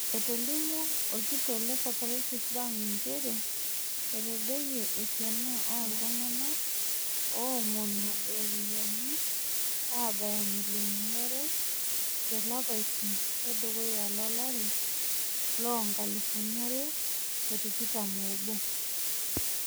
Etolimuo olkitok le Cooperative bank nchere etadoyie esiana olltungana oomonu iropiyiani abaya millioni are te lapaitin le dukuya lo lari loo nkalifuni are o tikitam o obo.